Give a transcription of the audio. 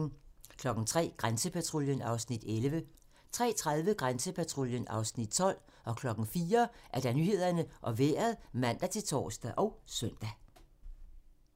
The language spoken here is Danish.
03:00: Grænsepatruljen (Afs. 11) 03:30: Grænsepatruljen (Afs. 12) 04:00: Nyhederne og Vejret (man-tor og søn)